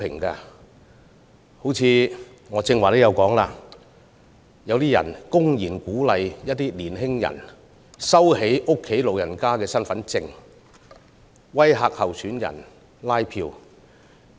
正如我剛才提及，有人公然鼓勵年輕人收起家中長者的身份證，並威嚇拉票的參選人。